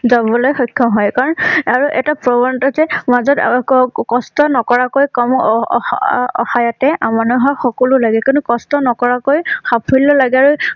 যাবলৈ সক্ষম হয়। কাৰণ আৰু এটা যে কষ্ট নকৰাকৈ কম অঅঅস অসায় আমনা হোৱা সকলো লাগে কিন্তু কষ্ট নকৰাকৈ সাফল্য লাগে আৰু